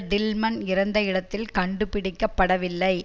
Tillman இறந்த இடத்தில் கண்டுபிடிக்க படவில்லை